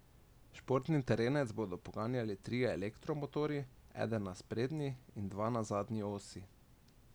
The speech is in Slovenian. Športni terenec bodo poganjali trije elektromotorji, eden na sprednji in dva na zadnji osi.